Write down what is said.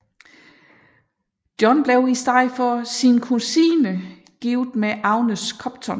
John blev i stedet for sin kusine gift med Agnes Copton